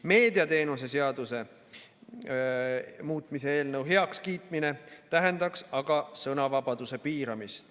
Meediateenuste seaduse muutmise eelnõu heakskiitmine aga piiraks sõnavabadust.